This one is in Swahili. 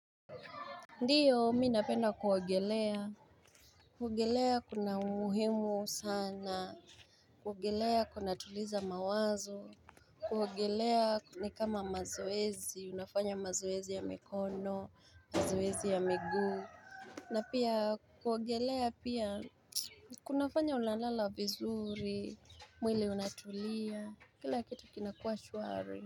Ndio, mimi napenda kuogelea, kuogelea kuna umuhimu sana, kuogelea kunatuliza mawazo, kuogelea ni kama mazoezi, unafanya mazoezi ya mikono, mazoezi ya miguu, na pia kuogelea pia kunafanya unalalala vizuri, mwili unatulia, kila kitu kinakuwa shwari.